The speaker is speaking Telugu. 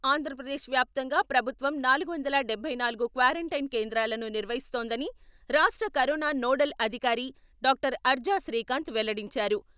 ఆంధ్రప్రదేశ్ వ్యాప్తంగా ప్రభుత్వం నాలుగు వందల డబ్బై నాలుగు క్వారంటైన్ కేంద్రాలను నిర్వహిస్తోందని రాష్ట్ర కరోనా నోడల్ అధికారి డాక్టర్ అర్జా శ్రీకాంత్ వెల్లడించారు.